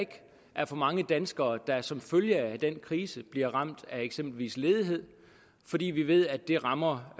er for mange danskere der som følge af den krise bliver ramt af eksempelvis ledighed fordi vi ved at det rammer